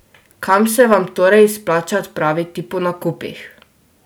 Kam se vam torej izplača odpraviti po nakupih?